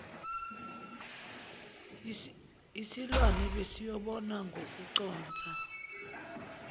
yisilwane besiyobona ngokuconsa